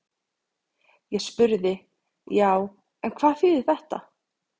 Ég spurði: Já, en hvað þýðir þetta?